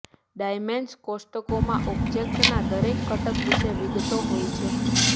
dimension કોષ્ટકોમાં ઓબ્જેક્ટનાં દરેક ઘટક વિશે વિગતો હોય છે